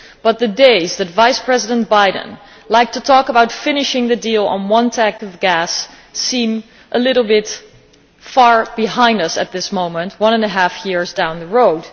But those days, when Vice President Biden liked to talk about finishing the deal on one tank of gas, seem a little bit far behind us at this moment, one and a half years down the road.